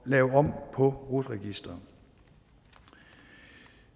lave om på rut registeret